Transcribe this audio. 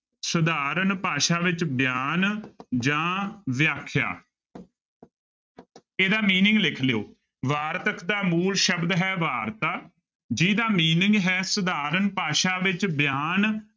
ਸਧਾਰਨ ਭਾਸ਼ਾ ਵਿੱਚ ਬਿਆਨ ਜਾਂ ਵਿਆਖਿਆ ਇਹਦਾ meaning ਲਿਖ ਲਇਓ ਵਾਰਤਕ ਦਾ ਮੂਲ ਸ਼ਬਦ ਹੈ ਵਾਰਤਾ, ਜਿਹਦਾ meaning ਹੈ ਸਧਾਰਨ ਭਾਸ਼ਾ ਵਿੱਚ ਬਿਆਨ